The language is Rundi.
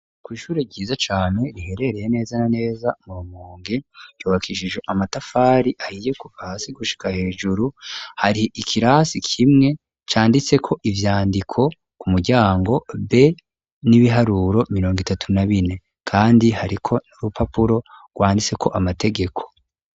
Kw'ishure vyiza cane riherereye neza naneza murumonge yobakishije amatafari ahiye ku pasi gushika hejuru hari ikirasi kimwe canditseko ivyandiko ku muryango b n'ibiharuro mirongo itatu na bine kandi hari ko n'urupapuro rwanditseko amategeko.